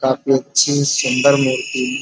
काफी अच्छी सुंदर मूर्ति --